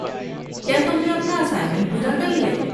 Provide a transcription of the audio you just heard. کیا تم نے اپنا اسائنمنٹ پورا کر لیا۔